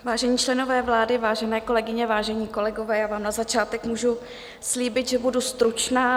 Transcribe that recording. Vážení členové vlády, vážené kolegyně, vážení kolegové, já vám na začátek můžu slíbit, že budu stručná.